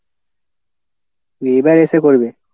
এবার এসে করবে?